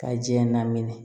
Ka ji namini